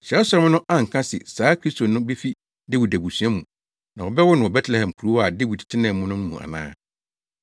Kyerɛwsɛm no anka se saa Kristo no befi Dawid abusua mu na wɔbɛwo no wɔ Betlehem kurow a Dawid tenaa mu no mu ana?”